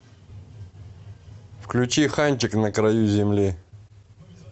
включи ханчик на краю земли